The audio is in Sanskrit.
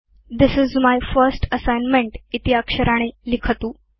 this is my first assignment इति अक्षराणि लिखतु